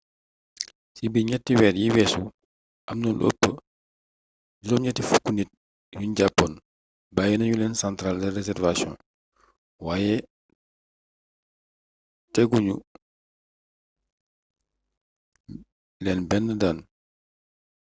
ci biir 3 weer yi weesu amna lu ëpp 80 nit yuñ jàppoon bàyyi nañu leen centrale de réservation waaye tegu ñu leen benn daan